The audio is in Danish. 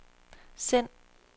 send